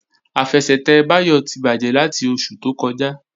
Àfẹsẹ̀tẹ̀ Báyọ̀ ti bàjẹ́ láti oṣù tó kọjá